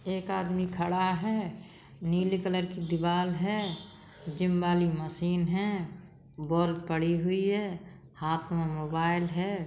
एक आदमी खड़ा है। नीले कलर की दीवार है जिम वाली मशीन है। बॉल पड़ी हुई है हाथ में मोबाइल है।